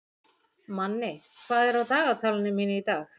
Manni, hvað er á dagatalinu mínu í dag?